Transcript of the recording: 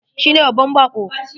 Shi ne babban bako.